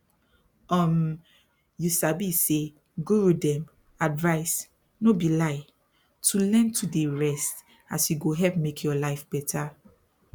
um you sabi say guru dem advise no be lie to learn to dey rest as e go help make your life better